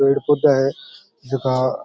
पेड़ पौधा है जका --